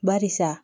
Barisa